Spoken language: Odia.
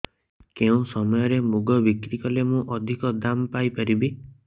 କେଉଁ ସମୟରେ ମୁଗ ବିକ୍ରି କଲେ ମୁଁ ଅଧିକ ଦାମ୍ ପାଇ ପାରିବି